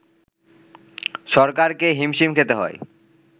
সরকারকে হিমশিম খেতে হয়